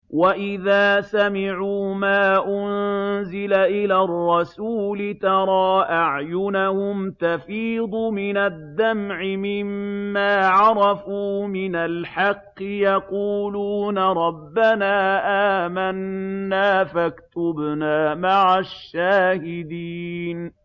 وَإِذَا سَمِعُوا مَا أُنزِلَ إِلَى الرَّسُولِ تَرَىٰ أَعْيُنَهُمْ تَفِيضُ مِنَ الدَّمْعِ مِمَّا عَرَفُوا مِنَ الْحَقِّ ۖ يَقُولُونَ رَبَّنَا آمَنَّا فَاكْتُبْنَا مَعَ الشَّاهِدِينَ